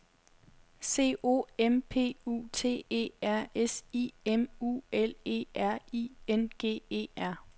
C O M P U T E R S I M U L E R I N G E R